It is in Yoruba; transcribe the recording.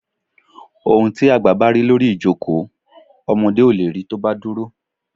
Ohún tí àgbá ba ri lórí ìjókòó, ọmọdé o le ri tọ́ ba dúrò